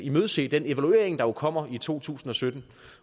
imødese den evaluering der jo kommer i to tusind og sytten